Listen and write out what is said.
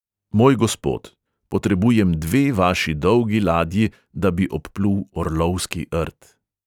"Moj gospod, potrebujem dve vaši dolgi ladji, da bi obplul orlovski rt."